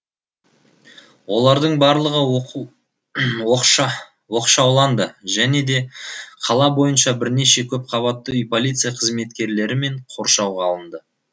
олардың барлығы оқшауланды және де қала бойынша бірнеше көпқабатты үй полиция қызметкерлерімен қоршауға алынды